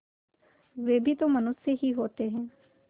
वे भी तो मनुष्य ही होते हैं